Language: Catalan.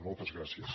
moltes gràcies